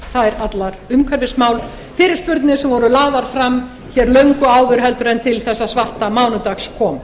þær allar umhverfismál fyrirspurnir sem voru lagðar fram hér löngu áður en til þessa svarta mánudags kom